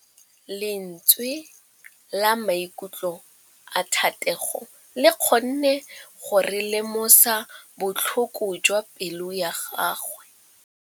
Lentswe la maikutlo a Thategô le kgonne gore re lemosa botlhoko jwa pelô ya gagwe.